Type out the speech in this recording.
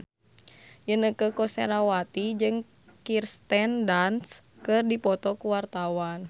Inneke Koesherawati jeung Kirsten Dunst keur dipoto ku wartawan